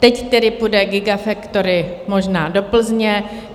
Teď tedy půjde gigafactory možná do Plzně.